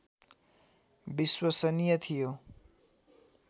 विश्वसनीय थियो